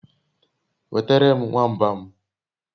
Nwetere m nwamba m